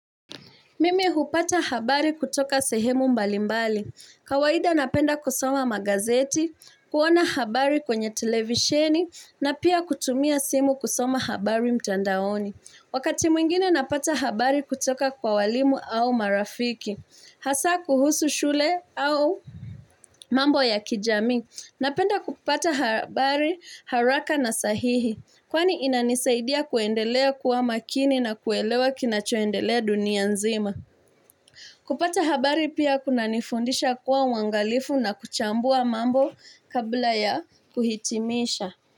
Mimi hupata habari kutoka sehemu mbalimbali. Kawahida napenda kusoma magazeti, kuona habari kwenye televisheni, na pia kutumia simu kusoma habari mtandaoni. Wakati mwingine napata habari kutoka kwa walimu au marafiki. Hasa kuhusu shule au mambo ya kijamii. Napenda kupata habari haraka na sahihi. Kwani inanisaidia kuendelea kuwa makini na kuelewa kinachoendelea dunia nzima. Kupata habari pia kuna nifundisha kuwa wangalifu na kuchambua mambo kabla ya kuhitimisha.